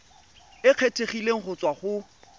e kgethegileng go tswa go